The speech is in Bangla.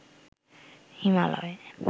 হিমালয়